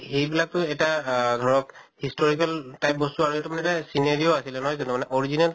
এইবিলাক তো এটা আহ ধৰক historical type বস্তু আৰু এইটো মানে এটা scenery ও আছিলে নহয় জানো মানে original